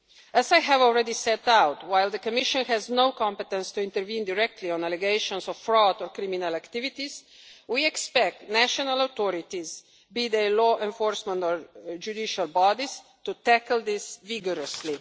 As I have already set out, while the Commission has no competence to intervene directly on allegations of fraud or criminal activities, we expect national authorities, be they law enforcement or judicial bodies, to tackle this vigorously.